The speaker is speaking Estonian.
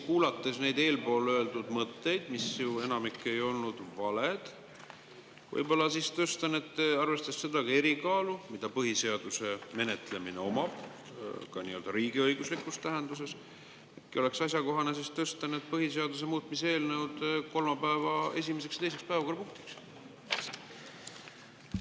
Kuulates neid eespool öeldud mõtteid, mis enamik ei olnud ju valed, siis võib-olla, arvestades ka seda erikaalu, mida põhiseaduse menetlemine omab riigiõiguslikus tähenduses, oleks asjakohane tõsta need põhiseaduse muutmise eelnõud kolmapäeva esimeseks ja teiseks päevakorrapunktiks?